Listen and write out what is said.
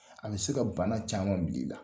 An bɛ se ka bana caman bila i la